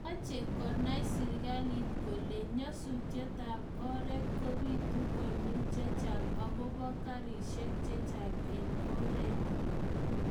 meche konay serikalit kole nyasusietab oret kobiitu konyil chechang agoba karishek chechang eng oret